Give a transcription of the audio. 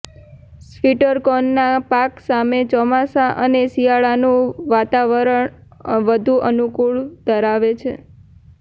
સ્વીટર્કોનનાં પાક માટે ચોમાસા અને શિયાળાનું વાતાવરણ વધુ અનુકૂળ ઘરાવે છે